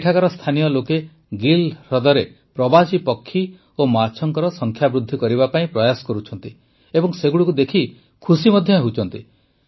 ଏବେ ଏଠାକାର ସ୍ଥାନୀୟ ଲୋକେ ଗିଲ୍ ହ୍ରଦରେ ପ୍ରବାସୀ ପକ୍ଷୀ ଓ ମାଛଙ୍କ ସଂଖ୍ୟା ବୃଦ୍ଧି କରିବା ପାଇଁ ପ୍ରୟାସ କରୁଛନ୍ତି ଏବଂ ସେଗୁଡ଼ିକୁ ଦେଖି ଖୁସି ମଧ୍ୟ ହେଉଛନ୍ତି